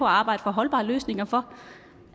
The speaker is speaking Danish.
arbejde for holdbare løsninger for